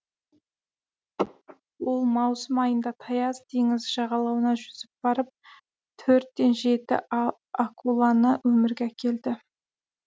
ол маусым айында таяз теңіз жағалауына жүзіп барып төрт те жеті акуланы өмірге әкелді